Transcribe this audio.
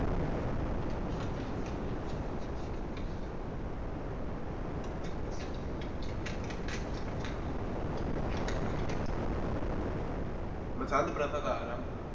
ਮਸੰਦ ਪ੍ਰਥਾ ਦਾ ਆਰੰਭ।